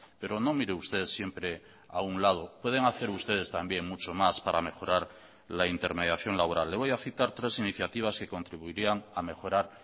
pero no mire usted siempre a un lado pueden hacer ustedes también mucho más para mejorar la intermediación laboral le voy a citar tres iniciativas que contribuirían a mejorar